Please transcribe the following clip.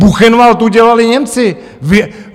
Buchenwald udělali Němci!